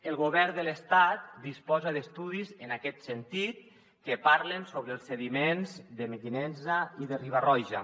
el govern de l’estat disposa d’estudis en aquest sentit que parlen sobre els sediments de mequinensa i de riba roja